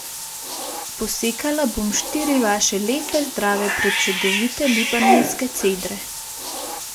Posekala bom štiri vaše lepe, zdrave, prečudovite libanonske cedre.